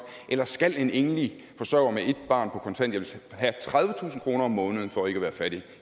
eller skal en enlig forsørger med et barn på kontanthjælp have tredivetusind kroner om måneden for ikke at være fattig